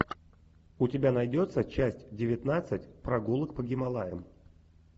у тебя найдется часть девятнадцать прогулок по гималаям